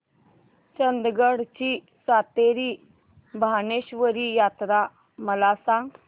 चंदगड ची सातेरी भावेश्वरी यात्रा मला सांग